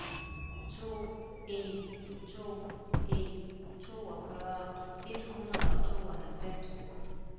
to en to en toogfyrre et hundrede og tooghalvfems